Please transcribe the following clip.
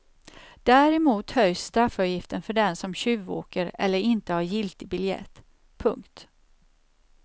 Däremot höjs straffavgiften för den som tjuvåker eller inte har giltig biljett. punkt